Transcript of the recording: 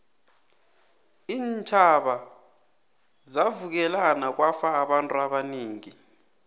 iintjhaba zavukelana kwafa abantu abanengi